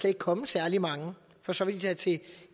ikke komme særlig mange for så vil de tage til